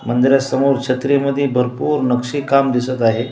मंदिरासमोर छत्रि मध्ये भरपूर नक्षी काम दिसत आहे.